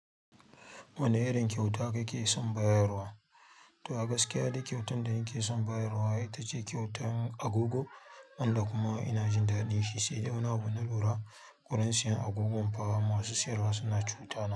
Wane irin kyauta kake son bayarwa? To a gaskiya duk kyautar da nake son bayarwa ita ce kyautar agogo, amma kuma ina jin daɗin shi, sai da na bunura kuranciyar agogon fa masu siyarwa suna cutana.